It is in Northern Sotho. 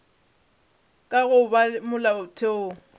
ka ga go ba molaotheong